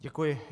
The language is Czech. Děkuji.